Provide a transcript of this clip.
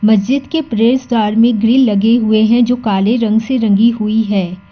महज़िद के प्रवेश द्वार ग्रील लगे हुए हैं जो काले रंग से रंगी हुई है।